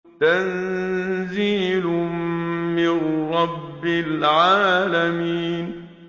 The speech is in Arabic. تَنزِيلٌ مِّن رَّبِّ الْعَالَمِينَ